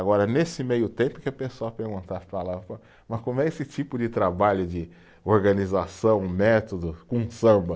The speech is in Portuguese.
Agora, nesse meio tempo que a pessoa perguntava, falava, mas como é esse tipo de trabalho de organização, método, com samba?